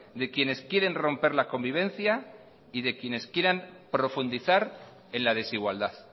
de quienes quieren romper la convivencia y de quienes quieran profundizar en la desigualdad